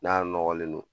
N'a nɔgɔlen don